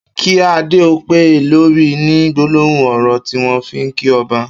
''Ki àdé ó pé lóri'' ni gbólóhùn ọrọ tiwọn fi n kí ọ̀bà